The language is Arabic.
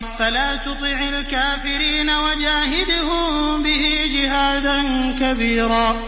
فَلَا تُطِعِ الْكَافِرِينَ وَجَاهِدْهُم بِهِ جِهَادًا كَبِيرًا